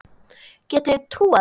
Getið þið trúað þessu?